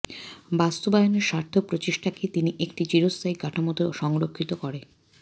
বাস্তবায়নের সার্থক প্রচেষ্টাকে তিনি একটি চিরস্থায়ী কাঠামোতে সংরক্ষিত করে